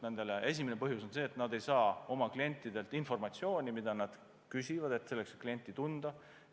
Esimene põhjus on see, et nad ei saa oma klientidelt informatsiooni, mida nad küsivad selleks, et klienti tunda.